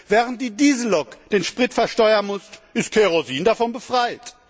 Während die Diesellok den Sprit versteuern muss, ist Kerosin davon befreit.